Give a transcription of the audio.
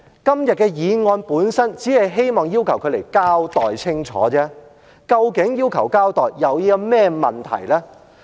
今天的議案本身只希望要求她來交代清楚，究竟要求交代有甚麼問題呢？